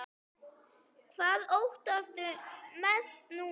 Hvað óttastu mest núna?